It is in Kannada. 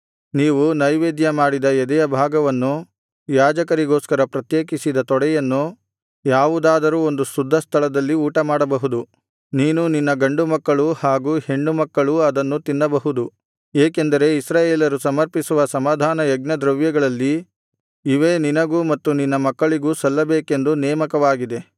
ನೀವು ನೈವೇದ್ಯ ಮಾಡಿದ ಎದೆಯ ಭಾಗವನ್ನು ಯಾಜಕರಿಗೋಸ್ಕರ ಪ್ರತ್ಯೇಕಿಸಿದ ತೊಡೆಯನ್ನು ಯಾವುದಾದರೂ ಒಂದು ಶುದ್ಧಸ್ಥಳದಲ್ಲಿ ಊಟಮಾಡಬಹುದು ನೀನೂ ನಿನ್ನ ಗಂಡುಮಕ್ಕಳೂ ಹಾಗು ಹೆಣ್ಣುಮಕ್ಕಳೂ ಅದನ್ನು ತಿನ್ನಬಹುದು ಏಕೆಂದರೆ ಇಸ್ರಾಯೇಲರು ಸಮರ್ಪಿಸುವ ಸಮಾಧಾನಯಜ್ಞದ್ರವ್ಯಗಳಲ್ಲಿ ಇವೇ ನಿನಗೂ ಮತ್ತು ನಿನ್ನ ಮಕ್ಕಳಿಗೂ ಸಲ್ಲಬೇಕೆಂದು ನೇಮಕವಾಗಿದೆ